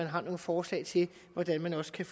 har nogle forslag til hvordan man også kan